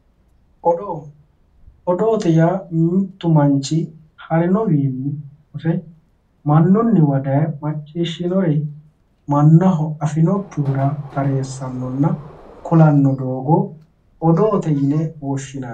Odoo, odoote yaa mitu manchi harinowinni hose mannuniwa daaye macciishshinore mannaho afinokkihura taresanonna ku'lano doogo odoote yinne woshshinanni.